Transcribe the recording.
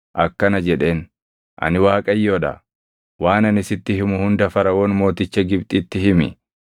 akkana jedheen; “Ani Waaqayyoo dha. Waan ani sitti himu hunda Faraʼoon mooticha Gibxitti himi.”